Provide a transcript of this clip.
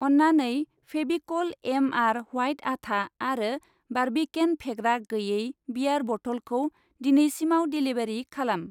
अन्नानै Fevicol M R. White आथा आरो बार्बिकेन फेग्रा गैयै बियार बथलखौ दिनैसिमाव डेलिबारि खालाम।